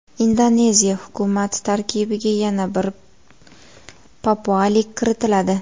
Indoneziya hukumati tarkibiga yana bir papualik kiritiladi.